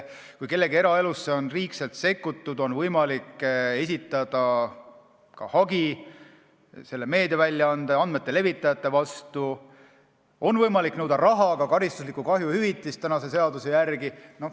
Kui kellegi eraellu on liigselt sekkutud, siis on võimalik esitada hagi meediaväljaande, andmete levitaja vastu, on võimalik nõuda raha, ka karistuslikku kahjuhüvitist seaduse järgi.